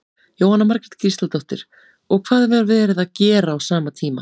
Jóhanna Margrét Gísladóttir: Og hvað var verið að gera á sama tíma?